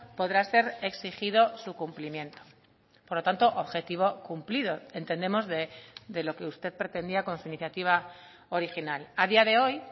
podrá ser exigido su cumplimiento por lo tanto objetivo cumplido entendemos de lo que usted pretendía con su iniciativa original a día de hoy